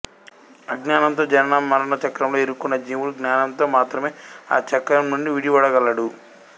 అజ్ఞానంతో జనన మరణ చక్రంలో ఇరుక్కున్న జీవుడు జ్ఞానంతో మాత్రమే ఆ చక్రము నుండి విడివడగలడు